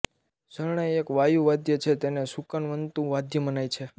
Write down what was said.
શરણાઈ એક વાયુ વાદ્ય છે તેને શુકનવંતુ વાદ્ય મનાય છે